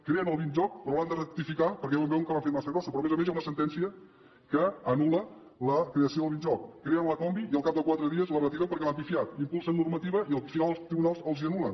creen el binjocs però l’han de rectificar perquè veuen que l’han fet massa grossa però a més a més hi ha una sentència que anul·la la creació del binjocs creen la combi i al cap de quatre dies la retiren perquè l’han pifiat impulsen normativa i al final els tribunals els l’anul·len